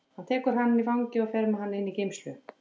Hann tekur hann í fangið og fer með hann inn í geymslu.